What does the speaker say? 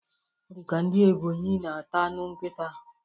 Ọ dika ndị Ebọnyi na-ata anụ nkịta